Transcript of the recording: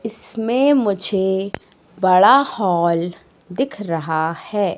इसमें मुझे बड़ा हॉल दिख रहा है।